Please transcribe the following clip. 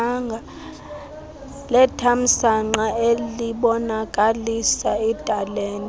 lethamsanqa elibonakalisa italente